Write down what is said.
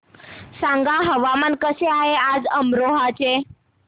सांगा हवामान कसे आहे आज अमरोहा चे